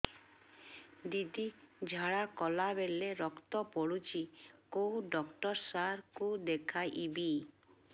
ଦିଦି ଝାଡ଼ା କଲା ବେଳେ ରକ୍ତ ପଡୁଛି କଉଁ ଡକ୍ଟର ସାର କୁ ଦଖାଇବି